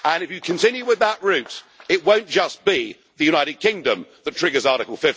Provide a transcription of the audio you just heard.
If you continue with that route it won't just be the United Kingdom that triggers Article